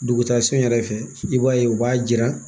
Dugutagasun yɛrɛ fɛ i b'a ye u b'a jira